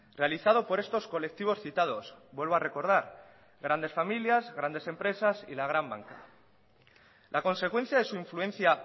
realizado por estos colectivos citados vuelvo a recordar grandes familias grandes empresas y la gran banca la consecuencia de su influencia